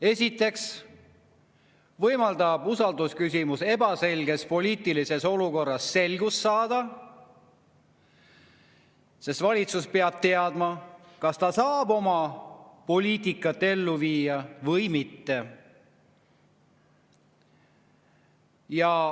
Esiteks võimaldab usaldusküsimus ebaselges poliitilises olukorras selgust saada, sest valitsus peab teadma, kas ta saab oma poliitikat ellu viia või mitte.